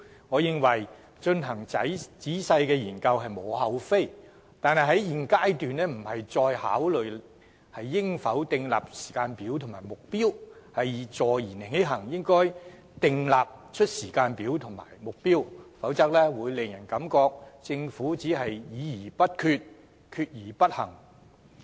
我認為進行仔細的研究實屬無可厚非，但在現階段不應再考慮應否訂立時間表和目標，而應坐言起行，就此訂立時間表和目標，否則只會讓人感到政府議而不決，決而不行。